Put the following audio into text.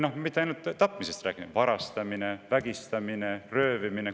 Ja mitte ainult tapmise puhul, vaid ka varastamise, vägistamise ja röövimise puhul.